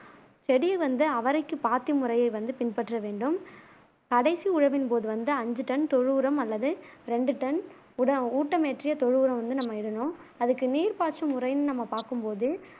செடி வந்து அவரைக்கு பாத்தி முறையை வந்து பின்பற்ற வேண்டும் கடைசி உழவின் போது வந்து அஞ்சு டன் தொழு உரம் அல்லது ரெண்டு டன் உட ஊட்டமேற்றிய தொழு உரம் வந்து நம்ம இடனும் அதுக்கு நீர் பாய்ச்சு முறைனு நம்ம பாக்கும்போது